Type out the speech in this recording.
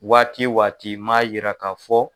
Waati waati i man yira ka fɔ